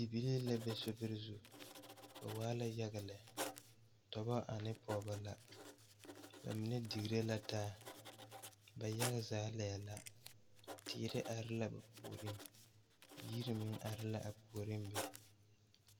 Bibilii la be sobiri zu ba waa la yaɡa lɛ dɔbɔ ane pɔɡebɔ la ba mine diɡire la taa ba yaɡa zaa laɛ la die la are la ba puoriŋ yiri meŋ are la a puoriŋ be.